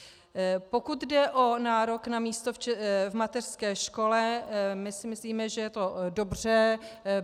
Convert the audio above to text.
Pokud jde o nárok na místo v mateřské škole, my si myslíme, že je to dobře.